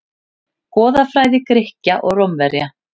Goðafræði Grikkja og Rómverja.